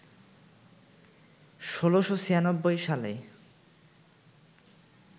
১৬৯৬ সালে